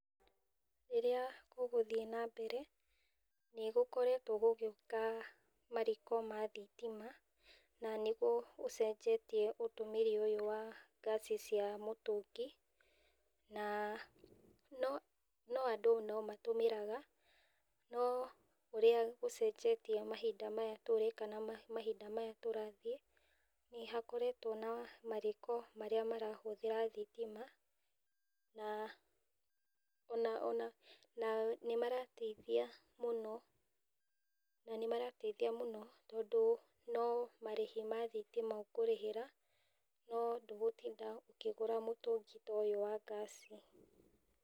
Rĩrĩa gũgũthiĩ na mbere, nĩ gũkoretwo gũgĩuka mariko ma thitima, na nĩguo ũcenjetie ũtũmĩri ũyũ wa ngasi cia mũtũngi, na, no, no andũ no matũmĩraga, no ũrĩa gũcenjetie mahinda maya tũrĩ, kana mahinda maya tũrathiĩ, nĩ nahokoretwo na mariko marĩa marahũthĩra thitima. Na ona, na nĩ marateithia mũno, na nĩ marateithia mũno, tondũ no marĩhi ma thitima ũkũrĩhĩra, no ndũgũtinda ũkĩgũra mũtungi ta ũyũ wa ngasi.